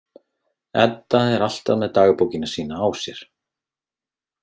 Edda er alltaf með dagbókina sína á sér.